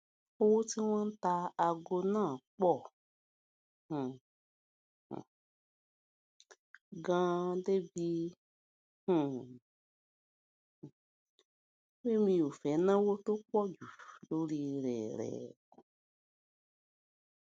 owó tí wón ń ta aago náà pò um ganan débi um pé mi ò fé náwó tó pò jù lórí rè rè